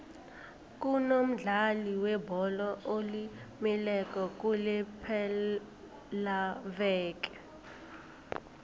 kunomdlali webholo olimeleko kulepelaveke